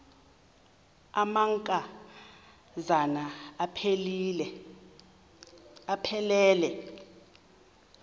amanka zana aphilele